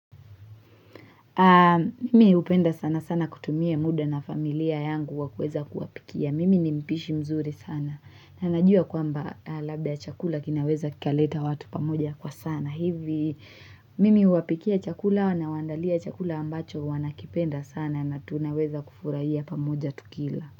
Mimi hupenda sana sana kutumia muda na familia yangu wakueza kuwapikia. Mimi nimpishi mzuri sana. Nanajua kwamba labda chakula kinaweza kikaleta watu pamoja kwa sana. Hivi mimi huwapikia chakula na wandalia chakula ambacho wanakipenda sana na tunaweza kufurahia pamoja tukila.